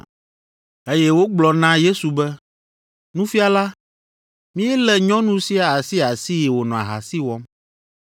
eye wogblɔ na Yesu be, “Nufiala, míelé nyɔnu sia asiasii wònɔ ahasi wɔm.